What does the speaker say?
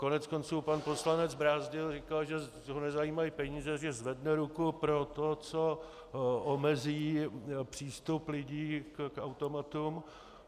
Koneckonců pan poslanec Brázdil říkal, že ho nezajímají peníze, že zvedne ruku pro to, co omezí přístup lidí k automatům.